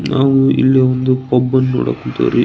ನಾವು ಇಲ್ಲಿ ಒಂದು ಪಬ್ ನ್ನು ನೋಡಕ್ ಕುಂತೇವರೀ.